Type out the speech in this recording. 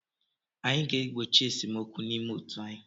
Anyị ga-egbochi esemokwu n'ime otu anyị.